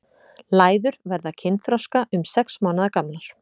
Læður verða kynþroska um sex mánaða gamlar.